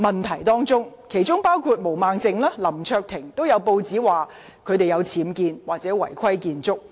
根據報章報道，毛孟靜議員及林卓廷議員也曾涉及僭建或違規建築。